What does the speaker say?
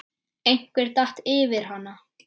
Einhver datt yfir hana.